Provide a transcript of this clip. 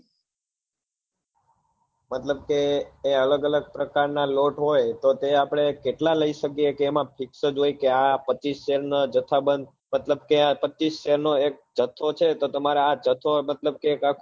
મતલબ કે એ અલગ અલગ પ્રકાર ના લોટ હોય તો એ આપડે કેટલા લઇ શકીએ કે એમાં fix હોય કે આ પચીશ share નો જથા બંધ મતલબ કે આ પચીશ share નો એક જથ્થો છે તો તમારા આ જથો મતલબ કે આખો